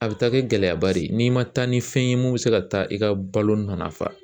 A bɛ taa kɛ gɛlɛyaba de ye n'i ma taa ni fɛn ye mun bɛ se ka taa i ka balo nɔnafa